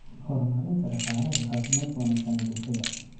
horumarinta dhaqaalaha iyo caafimaadka wanaagsan ee bulshada.